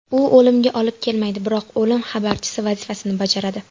U o‘limga olib kelmaydi, biroq o‘lim xabarchisi vazifasini bajaradi.